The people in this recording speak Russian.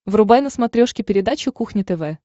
врубай на смотрешке передачу кухня тв